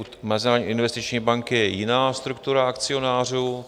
U Mezinárodní investiční banky je jiná struktura akcionářů.